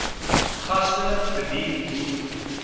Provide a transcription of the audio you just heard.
gaste bedien hoef